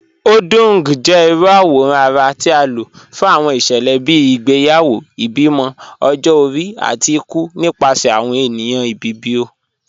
Odung jẹ irú awòrán ara ti a ló fún awọn iṣẹlẹ bíi ìgbéyàwó, ìbímọ, ọ̀jọ-ọ̀ri, àti ìkù nípasẹ̀ awọn ènìyàn Ìbibio.